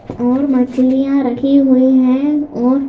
और मछलियां रखी हुई हैं और--